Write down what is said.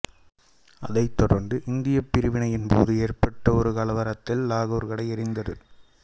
அதைத் தொடர்ந்து இந்தியப் பிரிவினையின் போது ஏற்பட்ட ஒரு கலவரத்தில் லாகூர் கடை எரிந்தது